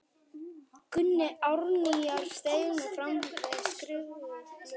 Gunni Árnýjar steig nú fram með skrifuð blöð.